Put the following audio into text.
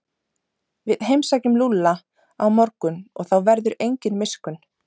Við heimsækjum Lúlla á morgun og þá verður engin miskunn.